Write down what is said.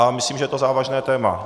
A myslím, že je to závažné téma.